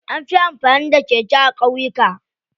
Anfi amfani da keke a ƙauyuka.